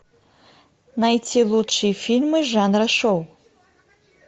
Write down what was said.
найти лучшие фильмы жанра шоу